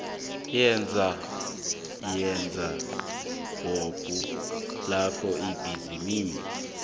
yesabhabhu lapho ibhizinisi